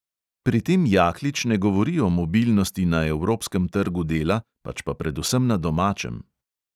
Pri tem jaklič ne govori o mobilnosti na evropskem trgu dela, pač pa predvsem na domačem.